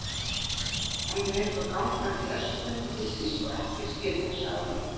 Hann er eins og gangandi verslun og þykist svo ekkert skilja sagði hann.